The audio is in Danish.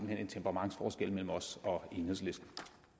hen en temperamentsforskel mellem os og enhedslisten